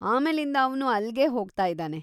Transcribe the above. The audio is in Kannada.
ಆಮೇಲಿಂದ ಅವ್ನು ಅಲ್ಗೇ ಹೋಗ್ತಾಯಿದಾನೆ.